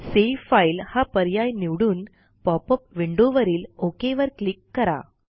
save file हा पर्याय निवडून पॉपअप विंडो वरीलOk वर क्लिक करा